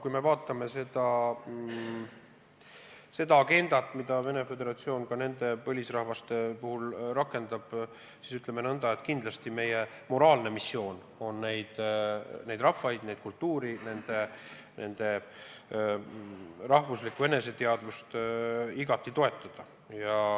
Kui me vaatame seda agendat, mida Venemaa Föderatsioon ka nende põlisrahvaste puhul rakendab, siis tuleb öelda nõnda, et kindlasti meie moraalne missioon on neid rahvaid, neid kultuure, nende rahvuslikku eneseteadvust igati toetada.